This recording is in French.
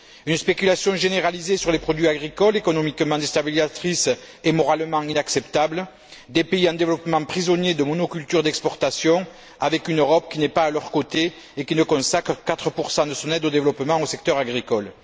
Une spéculation généralisée sur les produits agricoles, économiquement déstabilisatrice et moralement inacceptable, des pays en développement prisonniers de monocultures d'exportation avec une Europe qui n'est pas à leur côté et qui ne consacre que 4 de son aide au développement au secteur agricole.